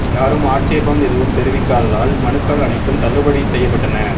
யாரும் ஆட்சேபம் எதுவும் தெரிவிக்காததால் மனுக்கள் அனைத்தும் தள்ளுபடி செய்யப்பட்டன